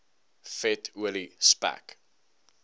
vet olie spek